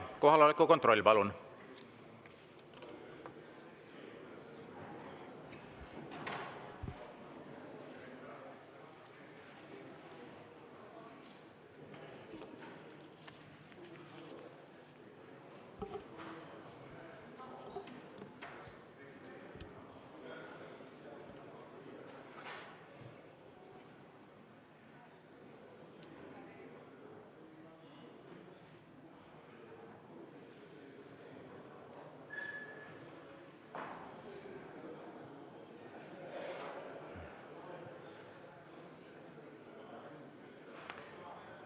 Kohaloleku kontroll, palun!